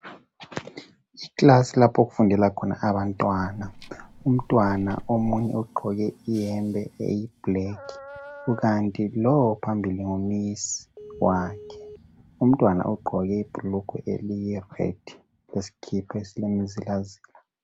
Ikilasi lapho kufundela khona abantwana. Umtwana omunye ogqoke iyembe eyiblack kukanti lo ophambili ngu misi wakhe. Umtwana ugqoke ibhulugwe eliyi red leskipa esile mzila zila.